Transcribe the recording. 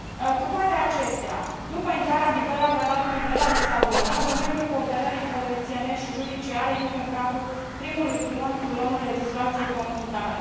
Cu toate acestea, după intrarea în vigoare a Tratatului de la Lisabona, domeniul cooperării polițienești și judiciare intră în cadrul primului pilon, pilonul legislației comunitare.